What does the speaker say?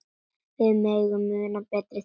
Við megum muna betri tíma.